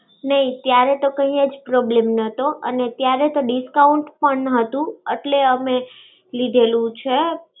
નઈ. ત્યારે તો કય્યા જ problem તો. અને ત્યારે તો discount પણ હતું. એટલે અમે લીધેલું છે.